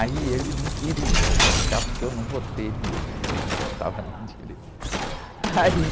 Aí ele não queria o porque eu não votei nele, porque eu não votava na direita. Aí...